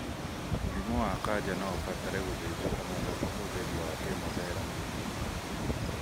Mũrimũ wa kanja noũbatare gũthĩnjwo hamwe na ũhũthĩri wa kemotherapĩ